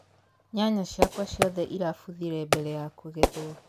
nyanya cĩakwa ciothe ĩrabũthire mbere ya kũgethwo